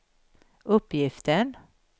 uppgiften